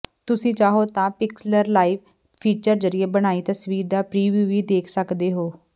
ਤੁਸੀਂ ਚਾਹੋ ਤਾਂ ਪਿਕਸਲਰ ਲਾਈਵ ਫੀਚਰ ਜ਼ਰੀਏ ਬਣਾਈ ਤਸਵੀਰ ਦਾ ਪ੍ਰੀਵਿਊ ਵੀ ਦੇਖ ਸਕਦੇ ਹੋ